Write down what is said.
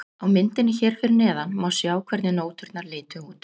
Á myndinni hér fyrir neðan má sjá hvernig nóturnar litu út.